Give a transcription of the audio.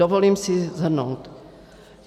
Dovolím si shrnout.